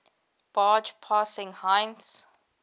barge passing heinz